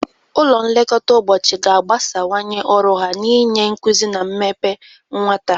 Ụlọ nlekọta ụbọchị ga-agbasawanye ọrụ ha n'inye nkuzi na mmepe nwata.